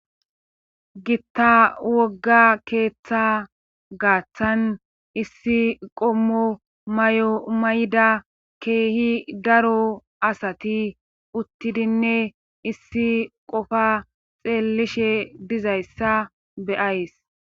Gitta wogga keeththa gaaththan issi qommo may'o may'da keehi daro asati uttidinne issi qofa xeellishe dizayssa beyays.